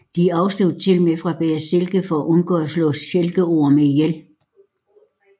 De afstod tilmed fra at bære silke for at undgå at slå silkeorme ihjel